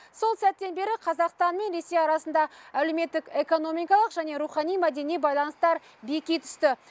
сол сәттен бері қазақстан мен ресей арасында әлеуметтік экономикалық және рухани мәдени байланыстар беки түсті